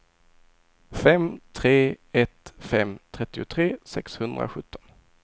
fem tre ett fem trettiotre sexhundrasjutton